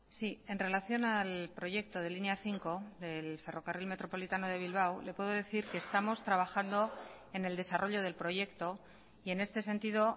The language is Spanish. sí en relación al proyecto de línea cinco del ferrocarril metropolitano de bilbao le puedo decir que estamos trabajando en el desarrollo del proyecto y en este sentido